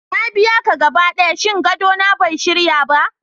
Na biya ka gaba ɗaya, shin gadona bai shirya ba?